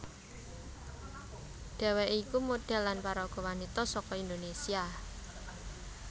Dhèwèké iku modhèl lan paraga wanita saka Indonésia